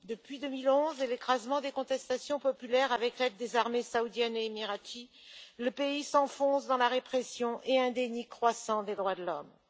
Depuis 2011 et l'écrasement des contestations populaires avec l'aide des armées saoudiennes et émiraties, le pays s'enfonce dans la répression et un déni croissant des droits de l'homme.